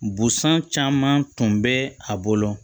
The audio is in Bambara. Busan caman tun bɛ a bolo